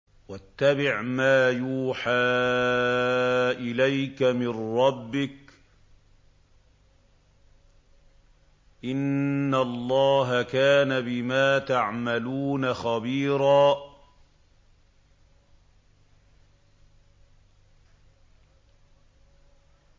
وَاتَّبِعْ مَا يُوحَىٰ إِلَيْكَ مِن رَّبِّكَ ۚ إِنَّ اللَّهَ كَانَ بِمَا تَعْمَلُونَ خَبِيرًا